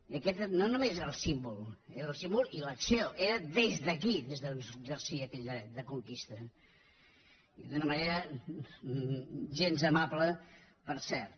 i aquest no només era el símbol era el símbol i l’acció era des d’aquí des d’on s’exercia aquell dret de conquesta i d’una manera gens amable per cert